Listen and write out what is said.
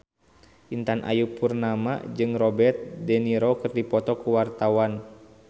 Intan Ayu Purnama jeung Robert de Niro keur dipoto ku wartawan